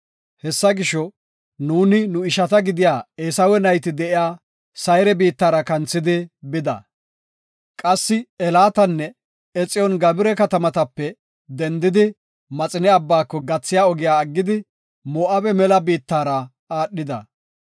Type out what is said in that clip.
Hessa gisho, “Nuuni nu ishata gidiya Eesawe nayti de7iya Sayre biittara kanthidi bida. Qassi Elaatanne Exiyoon-Gabira katamatape dendidi, Maxine Abbaako gathiya ogiya aggidi, Moo7abe mela biittara aadhida.